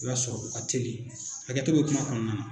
I b'a sɔrɔ u ka teli hakɛto bɛ kuma kɔnɔna na